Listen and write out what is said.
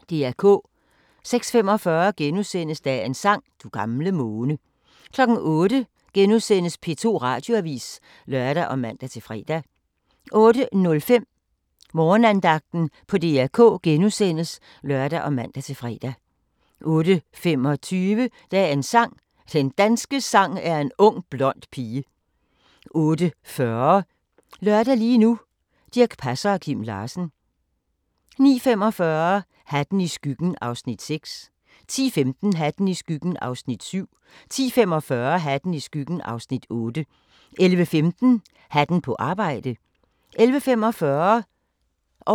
06:45: Dagens sang: Du gamle måne * 08:00: P2 Radioavis *(lør og man-fre) 08:05: Morgenandagten på DR K *(lør og man-fre) 08:25: Dagens sang: Den danske sang er en ung blond pige 08:40: Lørdag lige nu: Dirch Passer og Kim Larsen 09:45: Hatten i skyggen (Afs. 6) 10:15: Hatten i skyggen (Afs. 7) 10:45: Hatten i skyggen (Afs. 8) 11:15: Hatten på arbejde 11:45: Kvit eller Dobbelt